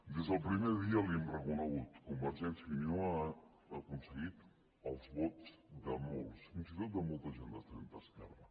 des del primer dia li ho hem reconegut convergència i unió ha aconseguit els vots de molts fins i tot de molta gent de centreesquerra